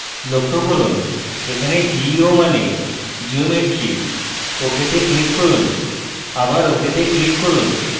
লক্ষ্য করুন এখানে geo মানে geometry ok তে click করুন আবার ok তে click করুন